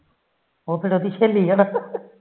ਉਹ ਫਿਰ ਉਹਦੀ ਸਹੇਲੀ